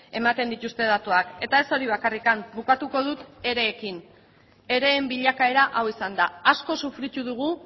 ematen dituzte datuak eta ez hori bakarrik bukatuko dut ereekin ereen bilakaera hau izan da asko sufritu dugu